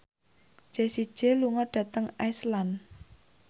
Jessie J lunga dhateng Iceland